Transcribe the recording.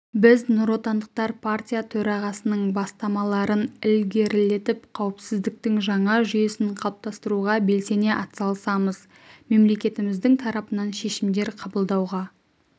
біз нұротандықтар партия төрағасының бастамаларын ілгерілетіп қауіпсіздіктің жаңа жүйесін қалыптастыруға белсене атсалысамыз мемлекетіміздің тарапынан шешімдер қабылдауға